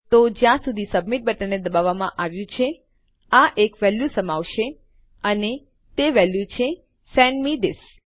તો જ્યાં સુધી સબમિટ બટનને દબાવવામાં આવ્યું છે આ એક વેલ્યુ સમાવશે અને તે વેલ્યુ છે સેન્ડ મે થિસ